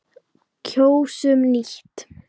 Kjósum nýtt.